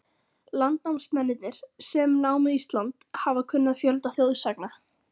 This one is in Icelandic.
Landnámsmennirnir, sem námu Ísland, hafa kunnað fjölda þjóðsagna.